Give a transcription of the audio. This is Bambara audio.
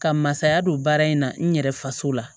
Ka masaya don baara in na n yɛrɛ faso la